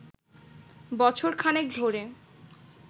বছর খানেক ধরে